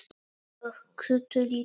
Og Kötu litlu.